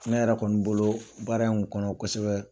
Ne yɛrɛ kɔni bolo baara in kosɛbɛ